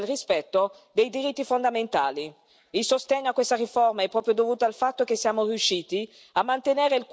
Le frontiere vanno gestite, efficacemente, è vero, ma anche e soprattutto nel rispetto dei diritti fondamentali.